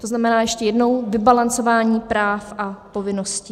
To znamená ještě jednou - vybalancování práv a povinností.